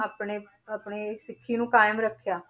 ਆਪਣੇ ਆਪਣੇ ਸਿੱਖੀ ਨੂੰ ਕਾਇਮ ਰੱਖਿਆ,